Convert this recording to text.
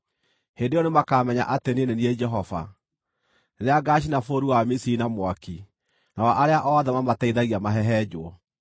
Hĩndĩ ĩyo nĩmakamenya atĩ niĩ nĩ niĩ Jehova, rĩrĩa ngaacina bũrũri wa Misiri na mwaki, nao arĩa othe maamateithagia mahehenjwo.